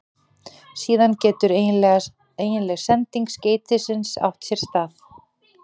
Síðan getur eiginleg sending skeytisins átt sér stað.